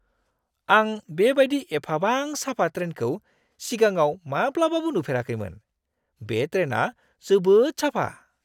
आं बेबायदि एफाबां साफा ट्रेनखौ सिगाङाव माब्लाबाबो नुफेराखैमोन। बे ट्रेना जोबोद साफा!